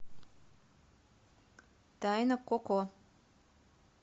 тайна коко